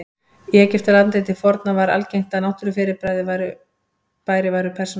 Í Egyptalandi til forna var algengt að náttúrufyrirbæri væru persónugerð.